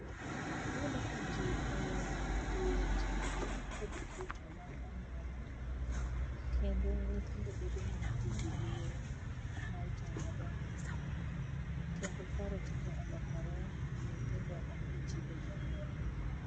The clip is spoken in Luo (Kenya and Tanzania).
Iyudo ka jii oweyo luwo timbewa kod kitwa mag anyuola, kendo nyithindo bedo ni onge gi luoro mag jomadongonegi, kendo paro tinde olokore nyitindo okluu chike jonyuol.